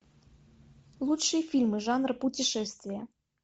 лучшие фильмы жанра путешествие